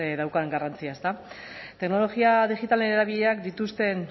daukan garrantzia ezta teknologia digitalen erabilerek dituzten